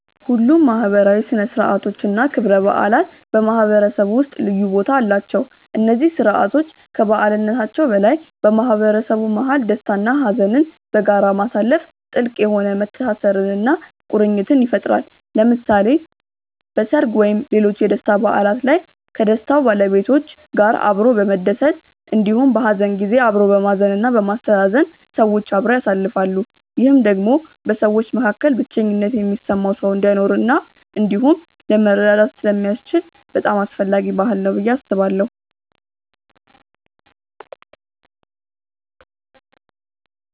ሁሉም ማህበራዊ ሥነ ሥርዓቶች እና ክብረ በዓላት በማህበረሰቡ ውስጥ ልዩ ቦታ አላቸው። እነዚህ ስርዓቶች ከበዓልነታቸው በላይ በማህበረሰቡ መሀል ደስታ እና ሀዘንን በጋራ ማሳለፋ ጥልቅ የሆነ መተሳሰርን እና ቁርኝትን ይፈጥራል። ለምሳሌ በሰርግ ወይም ሌሎች የደስታ በዓላት ላይ ከደስታው ባለቤቶች ጋር አብሮ በመደሰት እንዲሁም በሀዘን ጊዜ አብሮ በማዘን እና በማስተዛዘን ሰዎች አብረው ያሳልፋሉ። ይህም ደግሞ በሰዎች መካከል ብቸኝነት የሚሰማው ሰው እንዳይኖር እንዲሁም ለመረዳዳት ስለሚያስችል በጣም አስፈላጊ ባህል ነው ብዬ አስባለሁ።